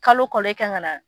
Kalo kalo e ka kan ka na.